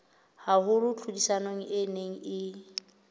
haholo tlhodisanong e neng e